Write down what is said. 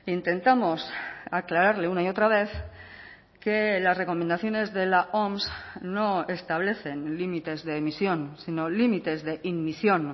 intentamos aclararle una y otra vez que las recomendaciones de la oms no establecen límites de emisión sino límites de inmisión